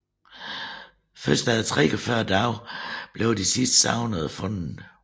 Først efter 43 dage blev de sidste savnede fundet